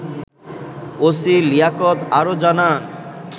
OC Liaquat আরও জানান